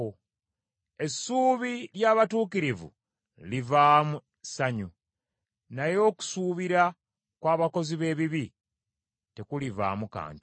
Essuubi ly’abatuukirivu livaamu ssanyu, naye okusuubira kw’abakozi b’ebibi tekulivaamu kantu.